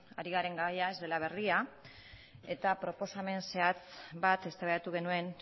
ari garen gaia ez dela berria eta proposamen zehatz bat eztabaidatu genuen